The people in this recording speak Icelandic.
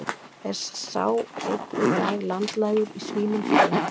Er sá enn í dag landlægur í svínum hérlendis.